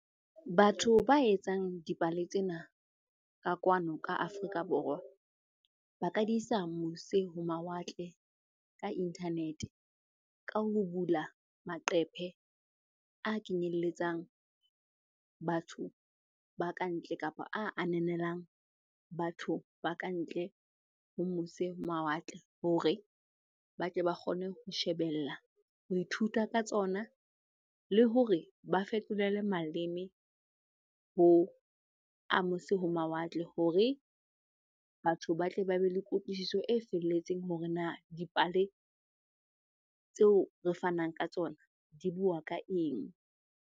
Batho ba etsang dipale tsena ka kwano ka Afrika Borwa, ba ka di isa mose ho mawatle ka internet-e. Ka ho bula maqephe a kenyeletsang batho ba ka ntle kapa a ananelang batho ba ka ntle ho mose mawatle hore ba tle ba kgone ho shebella, ho ithuta ka tsona le hore ba fetolele maleme ho a mose ho mawatle. Hore batho ba tle ba be le kutlwisiso e felletseng hore na dipale tseo re fanang ka tsona di bua ka eng?